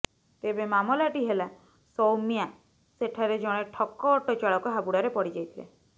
ତେବେ ମାମଲାଟି ହେଲା ସୌମ୍ୟା ସେଠାରେ ଜଣେ ଠକ ଅଟୋ ଚାଳକ ହାବୁଡରେ ପଡିଯାଇଥିଲେ